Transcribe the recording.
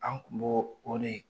An kun bo o de